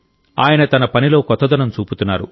ఆయన తన పనిలో కొత్తదనం చూపుతున్నారు